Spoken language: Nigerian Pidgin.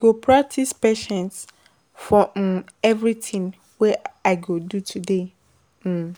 I go practice patience for um every thing wey I go do today. um